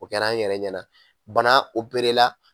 O kɛra an yɛrɛ ɲɛna bana la.